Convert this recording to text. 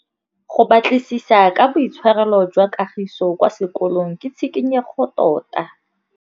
Go batlisisa ka boitshwaro jwa Kagiso kwa sekolong ke tshikinyêgô tota.